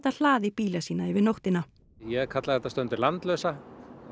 hlaðið bíla sína yfir nóttina ég kalla þetta stundum landlausa